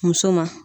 Muso ma